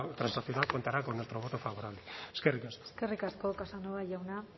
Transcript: transaccional contará con nuestro voto favorable eskerrik asko eskerrik asko casanova jauna